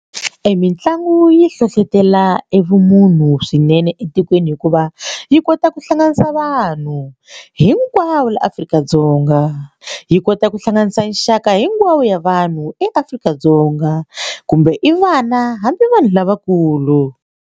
Mitlangu yi hlohlotela e vumunhu swinene etikweni hikuva yi kota ku hlanganisa vanhu hinkwavo la Afrika-Dzonga yi kota ku hlanganisa nxaka hinkwavo ya vanhu eAfrika-Dzonga kumbe i vana hambi vanhu lavakulu.